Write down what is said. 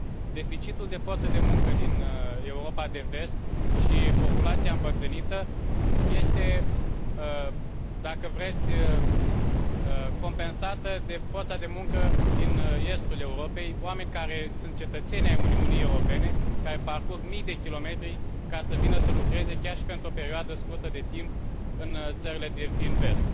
Deficitul de forță de muncă din Europa de Vest și populația îmbătrânită este, dacă vreți, compensată de forța de muncă din estul Europei, oameni care sunt cetățeni ai Uniunii Europene, care parcurg mii de kilometri ca să vină să lucreze, chiar și pentru o perioadă scurtă de timp, în țările din Vest.